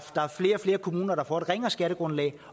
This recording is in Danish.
er flere og flere kommuner der får et ringere skattegrundlag